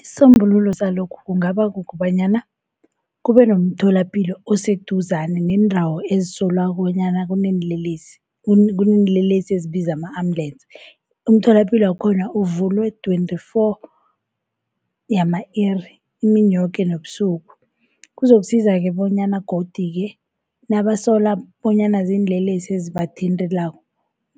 Isisombululo salokhu kungaba kukobanyana kube nomtholapilo oseduzane neendawo ezisolwako bonyana kuneenlelesi. Kuneenlelesi ezibiza ama-ambulance umtholapilo wakhona uvulwe twenty-four yama-iri imini yoke nobusuku. Kuzokusiza-ke bonyana godu-ke nabasola bonyana ziinlelesi ezibathintako